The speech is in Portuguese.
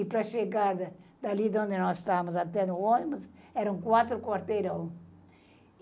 E para chegar da dali de onde nós estávamos, até no ônibus, eram quatro quarteirão.